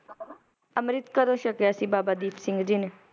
ਅੰਮ੍ਰਿਤ ਕਦੋਂ ਛਕਿਆ ਸੀ ਬਾਬਾ ਦੀਪ ਸਿੰਘ ਜੀ ਨੇ?